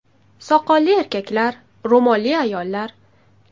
Soqolli erkaklar, ro‘molli ayollar.